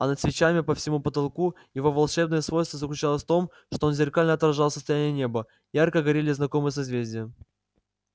а над свечами по всему потолку его волшебное свойство заключалось в том что он зеркально отражал состояние неба ярко горели знакомые созвездия